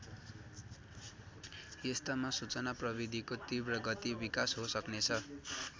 यस्तामा सूचना प्रविधिको तीव्र गति विकास हो सक्नेछ।